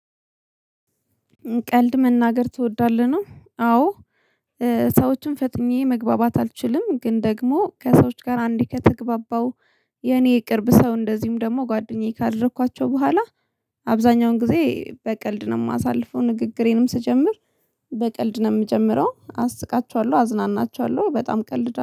ቀልድ መናገር ትወዳለህ ነው? አዎ። ሰዎችን ፈጥኜ መግባባት አልችልም። ግን ደግሞ ከሰዎች ጋር አንዴ ከተግባባው የኔ የቅርብ ሰው እንደዚሁም ደግሞ ጓደኛዬ ካደረኳቸው በኋላ። አብዛኛውን ጊዜ በቀልድ ነው የማሳልፈው ንግግሬንም ስጀምር። በቀልድ ነው የምጀምረው አስቃቸዋለሁ አዝናናቸዋለሁ በጣም ቀልድ